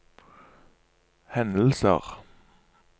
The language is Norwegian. hendelser